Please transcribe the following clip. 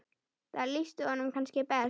Það lýsti honum kannski best.